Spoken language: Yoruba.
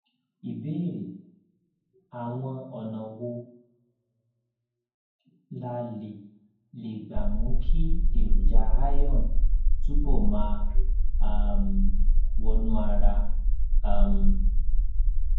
ìbéèrè àwọn ọnà wo la lè lè gbà mú kí èròjà iron túbọ máa um wọnú ara um